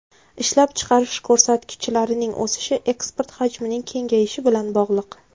Ishlab chiqarish ko‘rsatkichlarining o‘sishi eksport hajmining kengayishi bilan bog‘liq.